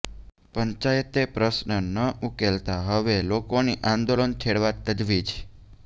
પંચાયતે પ્રશ્ન ન ઉકેલતા હવે લોકોની આંદોલન છેડવા તજવીજ